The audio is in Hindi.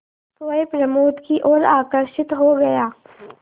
सोए प्रमोद की ओर आकर्षित हो गया